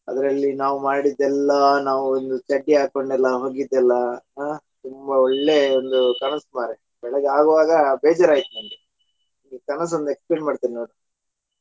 ಅದರಲ್ಲಿ ನಾವ್ ಮಾಡಿದ್ದೆಲ್ಲಾ ನಾವು ಒಂದು ಚಡ್ಡಿ ಹಾಕೊಂಡೇಲ್ಲಾ ಹೋಗಿದ್ದೆಲ್ಲಾ ಹಾ ತುಂಬಾ ಒಳ್ಳೆ ಒಂದು ಕನಸು ಮಾರಾಯಾ ಬೆಳಿಗ್ಗೆ ಆಗುವಾಗ ಬೇಜಾರ್ ಆಯ್ತು ಇದು ಕನಸು ಒಂದು explain ಮಾಡ್ತೀನಿ ನೋಡು .